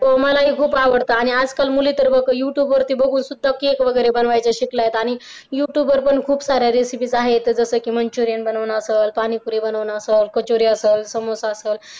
हो मलाही खूप आवडतं आणि आज काल मुली तर youtube साध्या रेसिपीज आहे गणपती बघायला हसायचं हसायचं